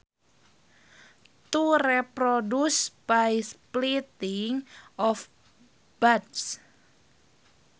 To reproduce by splitting off buds